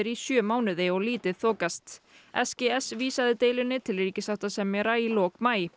í sjö mánuði og lítið þokast s g s vísaði deilunni til ríkissáttasemjara í lok maí